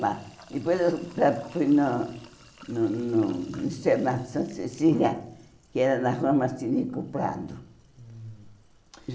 Depois eu fui no no no Internato Santa Cecília, que era na Rua Martínico Prado.